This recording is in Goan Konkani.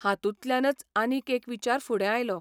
हातूंतल्यानच आनीक एक विचार फुडें आयलो.